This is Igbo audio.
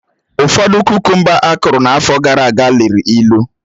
Ụfọdụ kukumba akụrụ n'afọ gara aga liri ịlụ